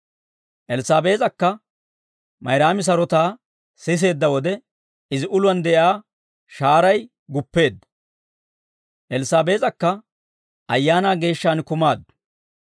Elssaabees'akka Mayraami sarotaa siseedda wode, izi uluwaan de'iyaa shahaaray guppeedda; Elssaabees'akka Ayaanaa Geeshshaan kumaaddu.